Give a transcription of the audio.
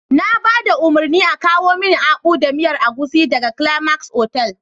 Na ba da umarnin a kawo mini Akpu da miyar agushi daga Climax otal.